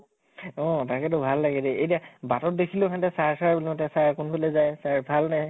অʼ তাকেতো ভাল লাগে দে । এতিয়া বাটত দেখিলেও সিহঁতে sir sir বুলি মাতে, sir কোন্ফালে যায়, sir ভাল নে